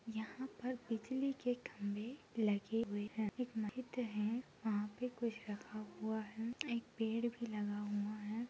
यहाँ पर बिजली के खम्भे में लगे हुए है एक माहीत है वहा पर कुछ रखा हुआ है एक पेड़ भी लगा हुआ है।